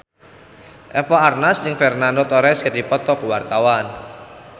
Eva Arnaz jeung Fernando Torres keur dipoto ku wartawan